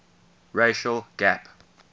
racial gap